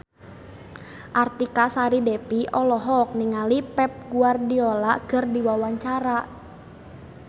Artika Sari Devi olohok ningali Pep Guardiola keur diwawancara